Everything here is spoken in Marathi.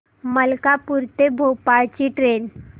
मलकापूर ते भोपाळ ची ट्रेन